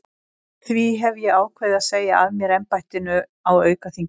Því hef ég ákveðið að segja af mér embættinu á aukaþingi.